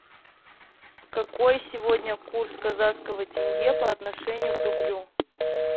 какой сегодня курс казахского тенге по отношению к рублю